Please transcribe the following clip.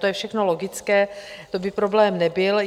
To je všechno logické, to by problém nebyl.